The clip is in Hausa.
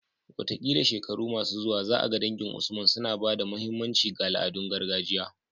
Wataƙila shekaru masu zuwa za a ga dangin Usman suna ba da muhimmanci ga al'adun gargajiya